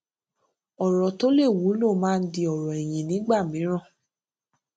ọrọ tó lè wúlò máa ń di ọrọ ẹyìn nígbà mìíràn